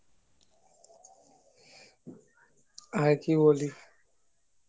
আর কি বলি